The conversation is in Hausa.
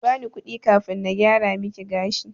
Kibani kudi kafin na gyara miki gashi.